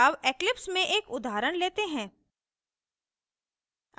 अब eclipse में एक उदाहरण लेते हैं